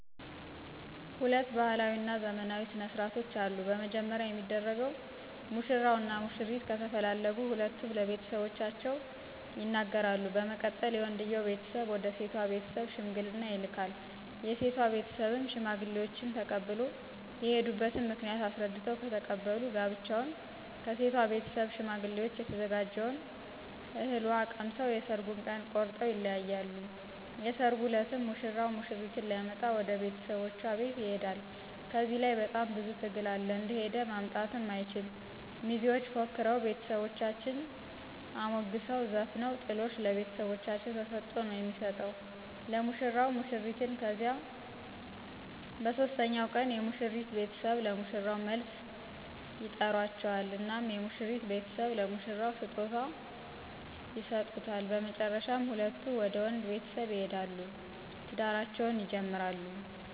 ሁለት ባህላዊ እና ዘመናዊ ስነ ስርዓቶች አሉ። በመጀመሪያ የሚደረገው ሙሽራው እና ሙሽሪት ከተፈላለጉ ሁለቱም ለቤተሰቦቻቸው ይነገራሉ በመቀጠል የወንድየው ቤተሰብ ወደ ሴቶ ቤተስብ ሽምግልና ይልካል የሴቶ ቤተሰብም ሽማግሌዎችን ተቀብሎ የሆዱበት ምክንያት አሰረድተው ከተቀበሉ ጋብቻውን ከሴቶ ቤተሰብ ሸማግሌዎችን የተዘጋጀውን እህል ውሃ ቀምሰው የሠራጉን ቀን ቆረጠው ይለያያሉ። የሰራጉ እለትም ሙሽራው ሙሽሪትን ሊመጣ ወደ ቤተሰቦቻ ቤት ይሆዳ ከዚህ ለይ በጣም ብዙ ትግል አለ እንደሆደ ማምጣትም አይችል ሚዜዎች ፎክረው ቤተሰቦቻን አሞግሰው ዘፍነው ጥሎሽ ለቤተሰቦቻ ተሰጦ ነው የሚሰጠው ለሙሽራው ሙሽሪትን ከዚያ በሦስተኛው ቀን የሙሽሪት ቤተሰብ ለሙሽራው መልስ ይጠራቸዋል እናም የሙሽሪት ቤተሰብ ለሙሽራው ስጦታ ይሰጡታ በመጨረሻ ሁለቱም ወደ ወንድ ቤተሰብ ይሆዳሉ ትዳራቸውን ይጀምራሉ።